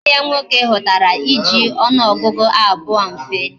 Nwanne ya nwoke hutara iji onuogugu abuo mfe